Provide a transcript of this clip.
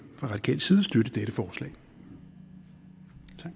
fra radikal side støtte dette forslag